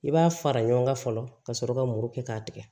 I b'a fara ɲɔgɔn kan fɔlɔ ka sɔrɔ ka muru kɛ k'a tigɛ